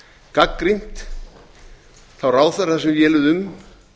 gagnrýnt þá ráðherra sem véluðu um